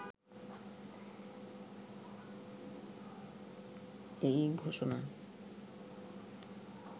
এই ঘোষণা